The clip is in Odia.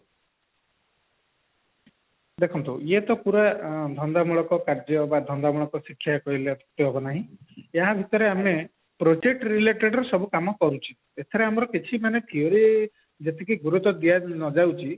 ଦେଖନ୍ତୁ ଏଇ ତ ପୁରା ଧନ୍ଦାମୂଳକ କାର୍ଯ୍ୟ ବ ଧନ୍ଦାମୂଳକ ଶିକ୍ଷା କହିଲେ ଅତ୍ଯୁକ୍ତି ହେବନାହିଁ ଏହା ଭିତରେ ଆମେ project related ସବୁ କାମ କରୁଛି ଏଥିରେ ଆମର କିଛି ମାନେ theory ଯେତିକି ଗୁରୁତ୍ଵ ନ ଦିଆଯାଉଛି